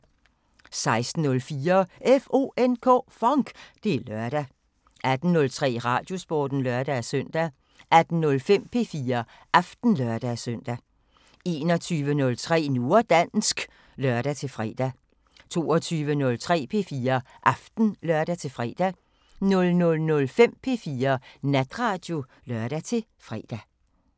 16:04: FONK! Det er lørdag 18:03: Radiosporten (lør-søn) 18:05: P4 Aften (lør-søn) 21:03: Nu og dansk (lør-fre) 22:03: P4 Aften (lør-fre) 00:05: P4 Natradio (lør-fre)